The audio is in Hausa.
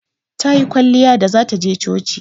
Tayi kwalliya da zata je coci.